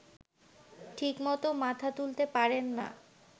ঠিকমতো মাথা তুলতে পারেন না